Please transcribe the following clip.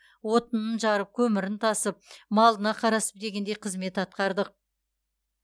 отынын жарып көмірін тасып малына қарасып дегендей қызмет атқардық